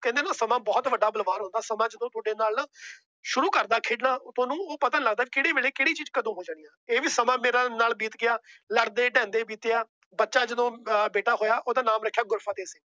ਕਹਿੰਦੇ ਨਾ ਸਮਾਂ ਬਹੁਤ ਵੱਡਾ ਬਲਵਾਨ ਹੁੰਦਾ। ਸਮਾਂ ਜਦੋ ਤੁਹਾਡੇ ਨਾਲ ਸ਼ੁਰੂ ਕਰਦਾ ਖੇਡਣਾ ਤੁਹਾਨੂੰ ਪਤਾ ਨਹੀਂ ਲੱਗਦਾ ਕਿਹੜੇ ਵੇਲੇ ਕੇਹੜੀ ਚੀਜ਼ ਹੋ ਜਾਣੀ। ਇਹ ਵੀ ਸਮਾਂ ਮੇਰੇ ਨਾਲ ਬੀਤ ਗਿਆ। ਲੜਦੇ ਢਹਿੰਦੇ ਬੀਤੀਆਂ। ਅੱਛਾ ਜਦੋ ਬੇਟਾ ਹੋਇਆ ਉਹੰਦਾ ਨਾਮ ਰੱਖਿਆ